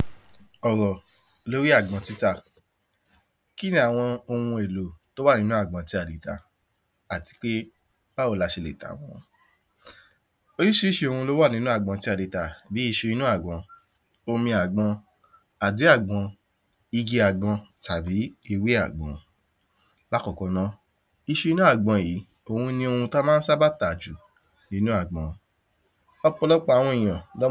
àwọn òṣìṣẹ́ ìjọba ń sọ̀rọ̀ nípa jíjẹ́kí àwọn ènìyàn mọ iye tí wọ́n ń gbà àti àǹfàni rẹ̀ Gbogbo ènìyàn ló ní èro ti wọn nípa jíjẹ́ kí àwọn ènìyàn mọ iye tí wọ́n ń gbà, ẹlòmíràn á rò wípé iye tí òún ń gbà pọ̀, bí àwọn ènìyàn bá mọ̀, a jẹ́ kí wọ́n máa tọrọ ǹkan ní ọwọ́ òun tàbí kí wọ́n fojú sí òun lára ẹlòmíràn á rò wípé iye tí òún ń gbà kéré, kò sí fẹ́ jẹ́ kí àwọn ènìyàn fojú kéré òun láwùjọ, kò ní fẹ́ jẹ́ kí àwọn ènìyàn mọ iye tí òún gbà bẹ́ẹ̀ sì ní ó lè dá ìkùnsínú sílẹ̀ láàrín àwọn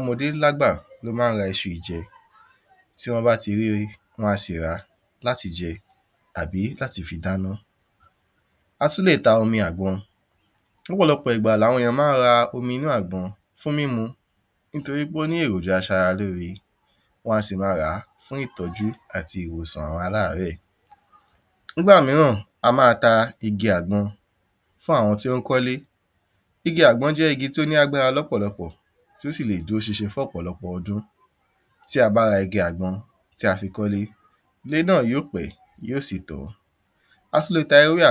òṣìṣẹ́ ilé iṣẹ́ kan náà, òṣìṣẹ́ kan lè sọ wípé ó yẹ kí òún máa gbà tó iye tí ẹnìkejì òún gbà àǹfàni jíjẹ́kí àwọn òṣìṣẹ́ mọ iye tí wọ́n ń gbà ni wípé. Ó ma ń fi àyè sílẹ̀ fún ìdúnàdúrà èyí á jẹ́ kí òṣìṣẹ́ lè sọ fún ibi iṣẹ́ òun pé iye tí ó ń gbà ó kéré tàbí kí wọ́n fi owó kún iye tí wọ́n ń san fún òun èyí á sì lè jẹ́ kí wọ́n fi ojú sí iṣẹ́ láti máa ṣe iṣẹ́ pẹ̀lu ìrẹ̀wẹ̀sì ọkàn ó ma ń fi àyè ìbára ẹni sọ̀rọ̀ tòótọ́ wà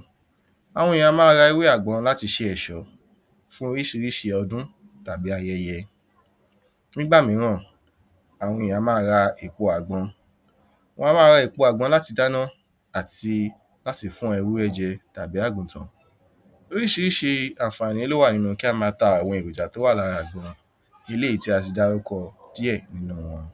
láàrín àwọn òṣìṣẹ́ eléyìí ó lè jẹ́ kí àṣírí kankan wà bíi pé, má sọ fún ẹnìkejì rẹ pé iye báyìí lò ń gbà o ẹ̀kejì o ma ń jẹ́ kí ilé iṣẹ́ ṣe ǹkan àìdọ́gba níbi owó òṣìṣẹ́ eléyìí ma ń jẹ́ kí àwọn ilé iṣẹ́ ríi wípé ìyè tí wọ́n san fún òṣìṣẹ́ ó jẹ́ iye tí ó yẹ kí wọ́n máa san fún wọn ẹ̀kẹta ni wípé ó ma ń jẹ́ kí àwọn ènìyàn ní ìgbọkànlé nínú ilé iṣẹ́ náà wípé wọn kìí rẹ́ ènìyàn jẹ bẹ́ẹ̀ sì ni kò sí ẹnikẹ́ni tí ó fẹ́ gbé owó ẹnìkan kúrú láìní ìdí